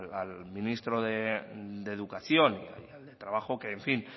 al ministro de educación y al de trabajo que en fin